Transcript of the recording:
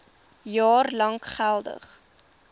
jaar lank geldig